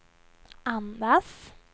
andas